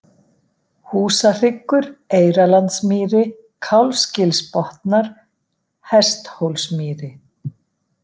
Húsahryggur, Eyrarlandsmýri, Kálfsgilsbotnar, Hesthólsmýri